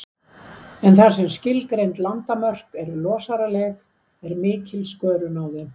En þar sem skilgreind landamörk eru losaraleg, er mikil skörun á þeim.